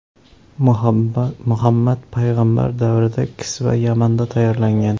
Muhammad Payg‘ambar davrida kisva Yamanda tayyorlangan.